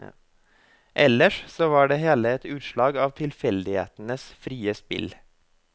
Eller så var det hele et utslag av tilfeldighetenes frie spill.